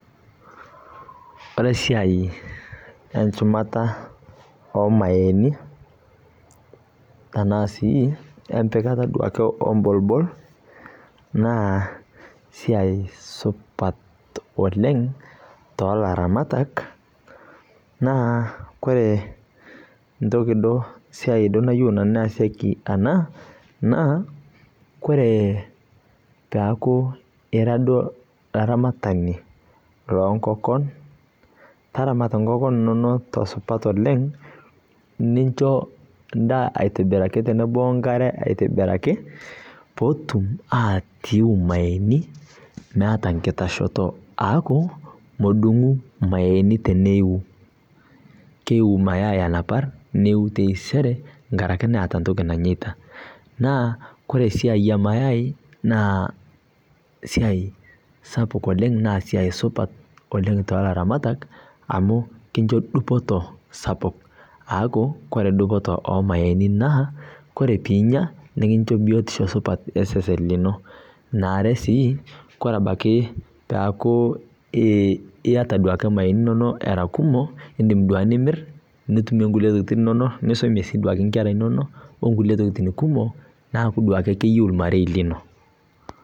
Ore esiai enchumata omayaini na si empikata omporbol na esiaia supat oleng tolaramatak na ore esiai nayiolo nanu easieki ena na koree taaku ira duo olarmatani lonkonkon taramata nkonkon inonok aitobiraki nincho endaa tenebo wenkare aitibiraki petum aiu imayaini laata enkitashoto eaku medungu mayai teneiu keu taata neiu taisere tenkaraki eeta entoki nanyita naa ore esiai emayai na esiai sapuk oleng tolaramatak na ekincho dupoto sapuk oleng tolaramatak aaku ore dupoto ormayai pinya nikinya nikincho biotisho osesen lino ore ebaki si neaku iyata duo irmayai inonok ira kumok nimir nisumie nkera inonok neaku iyieu irmarei lino